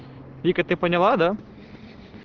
вика ты поняла да